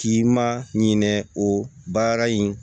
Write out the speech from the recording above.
K'i ma ɲinɛ o baara in